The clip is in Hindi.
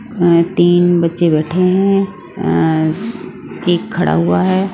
अ तीन बच्चे बैठे हैं अ एक खड़ा हुआ है।